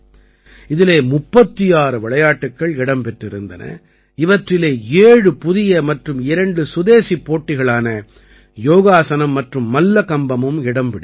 இதிலே 36 விளையாட்டுக்கள் இடம் பெற்றிருந்தன இவற்றிலே 7 புதிய மற்றும் 2 சுதேசிப் போட்டிகளான யோகாசனம் மற்றும் மல்லகம்பமும் இடம் பிடித்தன